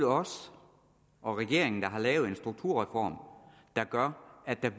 os og regeringen der har lavet en strukturreform der gør at der